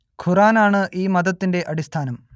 ഖുർആൻ ആണ് ഈ മതത്തിന്റെ അടിസ്ഥാനം